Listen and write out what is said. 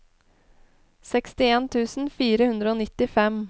sekstien tusen fire hundre og nittifem